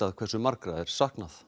hversu margra er saknað